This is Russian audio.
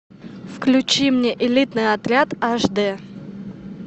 включи мне элитный отряд аш дэ